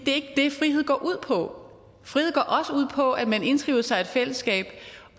er ikke det frihed går ud på frihed går også ud på at man indskriver sig i et fællesskab